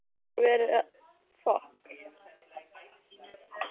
Það er rétt sem Lena segir.